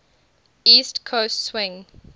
east coast swing